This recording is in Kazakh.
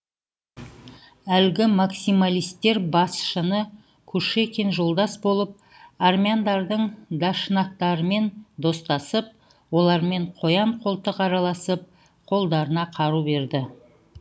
әлгі максималистер басшысы кушекин жолдас болып армяндардың дашнактарымен достасып олармен қоян қолтық араласып қолдарына қару берді